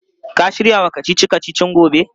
Ka shirya wa kacici-kacicin gobe?